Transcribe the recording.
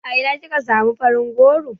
A ina kika samu farin goron?